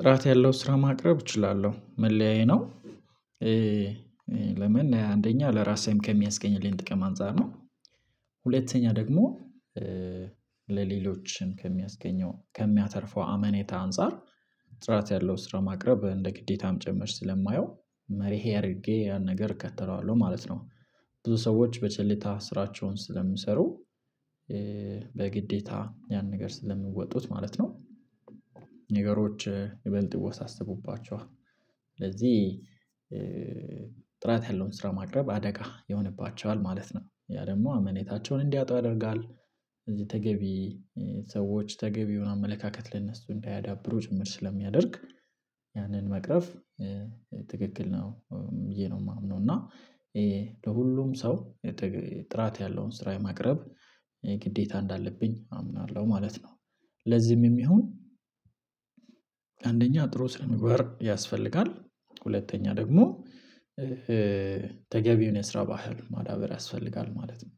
ጥራት ያለው ስራ ማቅረብ እችላለሁ መለያዬ ነው። ለምን አንደኛ ለራሴም ከሚያስገኝልኝ ጥቅም አንፃር ነው። ሁለተኛ ደግሞ ለሌሎችም ከሚያስገኘው ከሚያተርፈው አመኔታ አንፃር ጥራት ያለው ስራ ማቅረብ እንደ ግዴታም ጭምር ስለማየው መርሄ አድርጌ ያን ነገር እከተለዋለሁ ማለት ነው። ብዙ ሰዎች በቸልታ ስራቸውን ስለሚሰሩ በግዴታ ያን ነገር ስለሚወጡት ማለት ነው። ነገሮች ይበልጥ ይወሳሰቡባቸዋል። ስለዚህ ጥራት ያለውን ስራ ማቅረብ አደጋ ይሆንባቸዋል ማለት ነው ያ ደግሞ አመኔታቸውን እንዲያጡ ያደርጋል። እዚህ ተገቢ ሰዎች ተገቢውን አመለካከት ለነሱ እንዳያዳብሩ ጭምር ስለሚያደርግ ያንን መቅረፍ ትክክል ነው ብዬ ነው የማምነው። እና ለሁሉም ሰው ጥራት ያለውን ስራ ማቅረብ ግዴታ እንዳለብኝ አምናለሁ ማለት ነው። ለዚህም የሚሆን አንደኛ ጥሩ ስነ ምግባር ያስፈልጋል። ሁለተኛ ደግሞ ተገቢውን የስራ ባህል ማዳበር ያስፈልጋል ማለት ነው።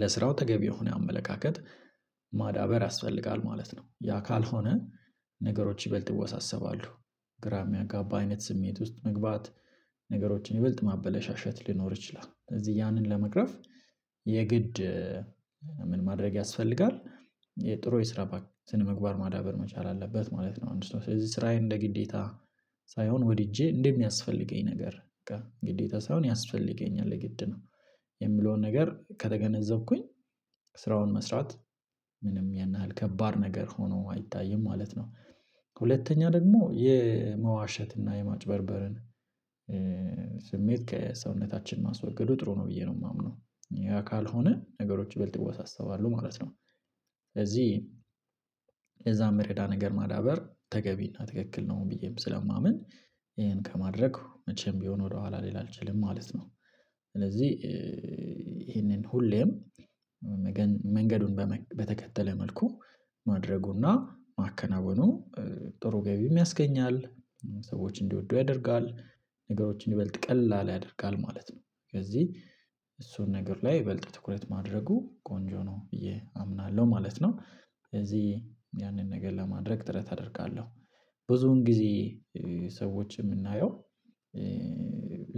ለስራው ተገቢው የሆነ አመለካከት ማዳበር ያስፈልጋል ማለት ነው ያ ካልሆነ ነገሮች ይበልጥ ይወሳሰባሉ። ግራ የሚያጋባ አይነት ስሜት ውስጥ መግባት ነገሮችን ይበልጥ ማበለሻሸት ሊኖር ይችላል። እዚህ ያንን ለመቅረፍ የግድ ምን ማድረግ ያስፈልጋል? የጥሩ የስራ ባህል ስነ ምግባር ማዳበር መቻል አለበት ማለት ነው። አንድ ስለዚህ ስራዬን እንደ ግዴታ ሳይሆን ወድጄ እንደሚያስፈልገኝ ነገር ግዴታ ሳይሆን ያስፈልገኛል የግድ ነው። የምለውን ነገር ከተገነዘብኩኝ ስራውን መስራት ምንም ያን ያህል ከባድ ነገር ሆኖ አይታይም ማለት ነው። ከሁለተኛ ደግሞ የመዋሸት እና የማጭበርበርን ስሜት ከሰውነታችን ማስወገዱ ጥሩ ነው ብዬ ነው ማምነው ያ ካልሆነ ነገሮች ይበልጥ ይወሳሰባሉ ማለት ነው። ስለዚህ ለዛ ሚረዳ ነገር ማዳበር ተገቢ እና ትክክል ነው ብዬም ስለማምን ይሄን ከማድረግ መቼም ቢሆን ወደኋላ ልል አልችልም ማለት ነው። ስለዚህ ይሄንን ሁሌም መንገዱን በተከተለ መልኩ ማድረጉ እና ማከናወኑ ጥሩ ገቢም ያስገኛል። ሰዎች እንዲወዱ ያደርጋል ነገሮችን ይበልጥ ቀላል ያደርጋል ማለት ነው። ከዚህ እሱን ነገር ላይ ይበልጥ ትኩረት ማድረጉ ቆንጆ ነው ብዬ አምናለሁ ማለት ነው። ስለዚህ ያንን ነገር ለማድረግ ጥረት አደርጋለሁ። ብዙውን ጊዜ ሰዎች የምናየው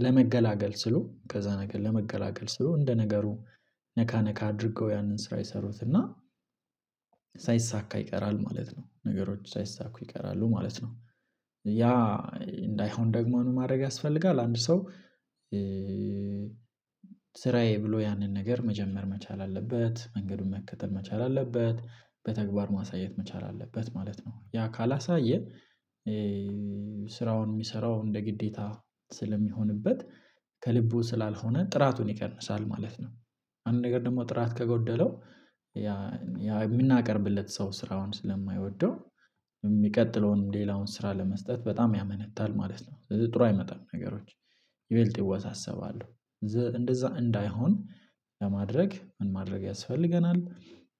ለመገላገል ሲሉ ከዛ ነገር ለመገላገል ሲሉ እንደ ነገሩ ነካ ነካ አድርገው ያንን ስራ ይሰሩት እና ይቀራል ማለት ነው ነገሮች ሳይሳኩ ይቀራሉ ማለት ነው። ያ እንዳይሆን ደግሞ ምን ማድረግ ያስፈልጋል? አንድ ሰው ስራዬ ብሎ ያንን ነገር መጀመር መቻል አለበት መንገዱን መከተል መቻል አለበት በተግባር ማሳየት መቻል አለበት ማለት ነው። ያ ካላሳየን ስራውን ሚሰራው እንደ ግዴታ ስለሚሆንበት ከልቡ ስላልሆነ ጥራቱን ይቀንሳል ማለት ነው። አንድ ነገር ደግሞ ጥራት ከጎደለው የምናቀርብለት ሰው ስራውን ስለማይወደው የሚቀጥለውን ሌላውን ስራ ለመስጠት በጣም ያመነታል ማለት ነው። ስለዚህ ጥሩ አይመጣም ነገሮች ይበልጥ ይወሳሰባሉ። እንደዛ እንዳይሆን ለማድረግ ምን ማድረግ ያስፈልገናል?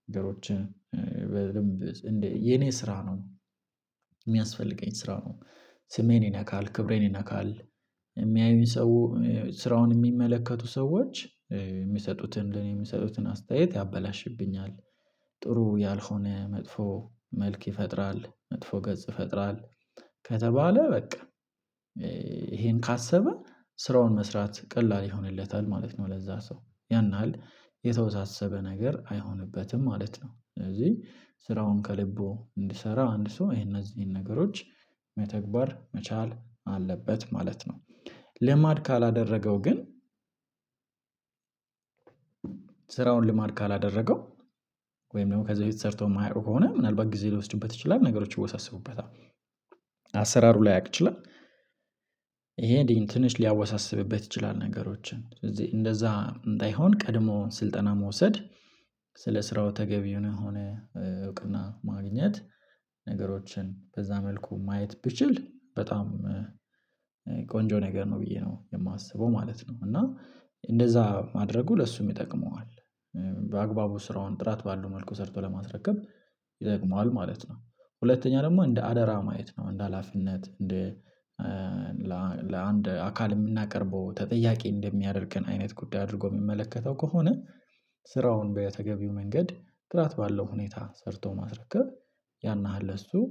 ነገሮችን የኔ ስራ ነው የሚያስፈልገኝ ስራው ነው ስሜን ይነካል ክብሬን ይነካል። የሚያዩኝ ሰው ስራውን የሚመለከቱ ሰዎች የሚሰጡትን ለኔ የሚሰጡትን አስተያየት ያበላሽብኛል። ጥሩ ያልሆነ መጥፎ መልክ ይፈጥራል መጥፎ ገጽ ይፈጥራል። ከተባለ በቃ ይሄን ካሰበ ስራውን መስራት ቀላል ይሆንለታል ማለት ነው። ለዛ ሰው ያን ያን ያሀል የተወሳሰበ ነገር አይሆንበትም ማለት ነው። ስለዚህ ስራውን ከልቡ እንዲሰራ አንድ ሰው ይሄ እነዚህን ነገሮች መተግበር መቻል አለበት ማለት ነው። ልማድ ካላደረገው ግን ስራውን ልማድ ካላደረገው ወይም ደግሞ ከዚህ በፊት ሰርቶ ማያውቀው ከሆነ ምናልባት ጊዜ ሊወስድበት ይችላል ነገሮችን ይወሳሰቡበታል አሰራሩ ላያቅ ይችላል። እንዴ ትንሽ ሊያወሳስብበት ይችላል። ነገሮችን ስለዚህ እንደዛ እንዳይሆን ቀድሞ ስልጠና መውሰድ። ስለ ስራው ተገቢ የሆነ እውቅና ማግኘት ነገሮችን በዛ መልኩ ማየት ብችል በጣም ቆንጆ ነገር ነው ብዬ ነው የማስበው ማለት ነው። እና እንደዛ ማድረጉ ለሱም ይጠቅመዋል። በአግባቡ ስራውን ጥራት ባሉ መልኩ ሰርቶ ለማስረከብ ይደግመዋል ማለት ነው። ሁለተኛ ደግሞ እንደ አደራ ማየት ነው እንደ ሀላፊነት እንደ ለአንድ አካል የምናቀርበው ተጠያቂ እንደሚያደርገን አይነት ጉዳይ አድርጎ ሚመለከተው ከሆነ ስራውን በተገቢው መንገድ ጥራት ባለው ሁኔታ ሰርቶ ማስረከብ ያን ያህል እሱ